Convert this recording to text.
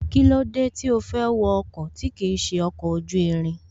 Kílódé tí ó fẹ́ wọ ọkọ̀ tí kìí ṣe ọkọ̀ ojú irin